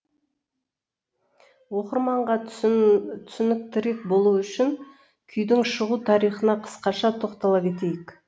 оқырманға түсініктірек болуы үшін күйдің шығу тарихына қысқаша тоқтала кетейік